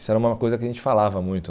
Isso era uma coisa que a gente falava muito.